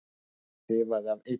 Þefaði af eitrinu.